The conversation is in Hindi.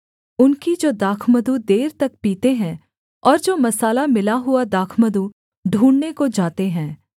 उनकी जो दाखमधु देर तक पीते हैं और जो मसाला मिला हुआ दाखमधु ढूँढ़ने को जाते हैं